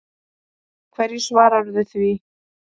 Hverju svaraðu því?